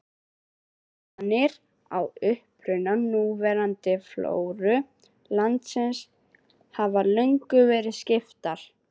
Skoðanir á uppruna núverandi flóru landsins hafa löngum verið skiptar.